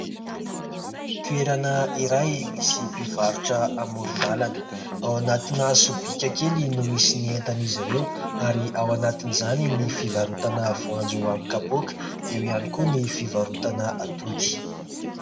Toerana iray misy mpivarotra amoron-dalana. Ao anatina sobika kely no misy ny entana izy ireo ary ao anatiny izany ny fivarotana voanjo amin'ny kapoaka ; eo ihany koa ny fivarotana atody.